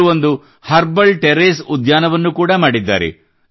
ಇವರು ಒಂದು herbal terrace ಉದ್ಯಾನ ವನ್ನು ಕೂಡ ಮಾಡಿದ್ದಾರೆ